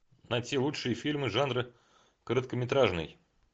найти лучшие фильмы жанра короткометражный